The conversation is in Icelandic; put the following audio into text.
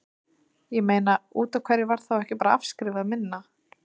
Ég meina, útaf hverju var þá ekki bara afskrifað minna?